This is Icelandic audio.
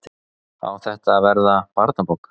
Á þetta að verða barnabók?